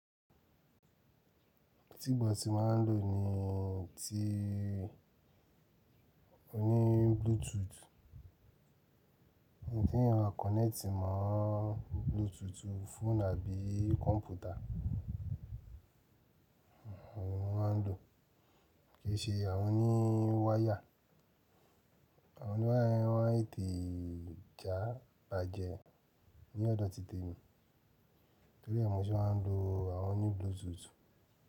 Tí ìgbà tí máa ń lò ní tí ó ní Bluetooth, ti eyan máa kọ̀nẹ́tì mọ́ Bluetooth fóònù àbí kọ̀ǹpútà, òhun mo máa ń lò. Kìí ṣe àwọn oní wire, àwọn ní wire yen ma tete ja, bàjẹ́, ní ọ̀dọ̀ tìt'emi, torí ẹ́ mo ṣé máa ń lo àwọn oní Bluetooth.